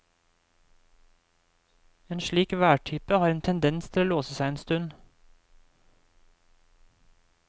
En slik værtype har en tendens til å låse seg en stund.